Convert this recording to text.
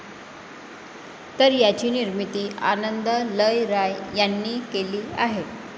तर याची निर्मिती आनंद एल राय यांनी केली आहे.